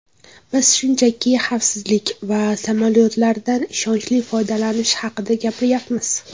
Biz shunchaki xavfsizlik va samolyotlardan ishonchli foydalanish haqida gapiryapmiz.